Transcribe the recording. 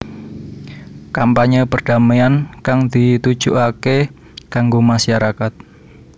Kampanyé perdamaian kang ditujukaké kanggo masarakat